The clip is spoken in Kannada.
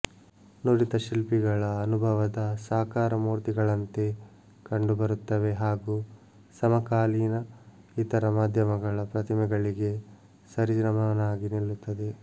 ನುರಿತ ಶಿಲ್ಪಿಗಳ ಅನುಭವದ ಸಾಕಾರ ಮೂರ್ತಿಗಳಂತೆ ಕಂಡು ಬರುತ್ತವೆ ಹಾಗೂ ಸಮಕಾಲೀನ ಇತರ ಮಾಧ್ಯಮಗಳ ಪ್ರತಿಮೆಗಳಿಗೆ ಸರಿ ಸಮನಾಗಿ ನಿಲ್ಲುತ್ತವೆ